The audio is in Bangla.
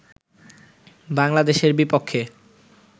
বাংলাদেশের বিপক্ষে